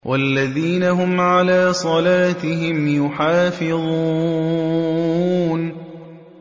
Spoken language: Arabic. وَالَّذِينَ هُمْ عَلَىٰ صَلَاتِهِمْ يُحَافِظُونَ